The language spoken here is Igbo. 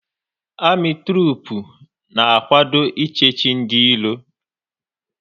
Amị trupu na-akwado ị chechi ndị iro